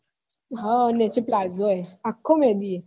હ નીચે પ્લાઝો હૈ આખો મેહદી હૈ